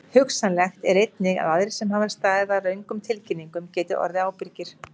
Hugsanlegt er einnig að aðrir sem hafa staðið að röngum tilkynningum geti orðið ábyrgir.